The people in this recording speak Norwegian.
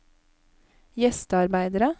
gjestearbeidere